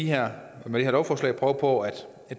her lovforslag prøver på at